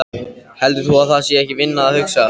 Heldur þú að það sé ekki vinna að hugsa?